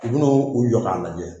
U bɛn'u u jɔ ka lajɛ